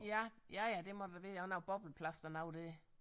Ja ja ja det må det da være han har jo bobleplast og noget det